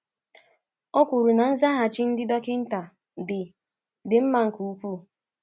O kwuru na nzaghachi ndị dọkịnta “dị “dị mma nke ukwuu.”